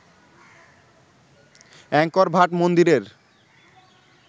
Angkor Wat মন্দিরের